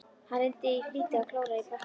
Hann reyndi í flýti að klóra í bakkann.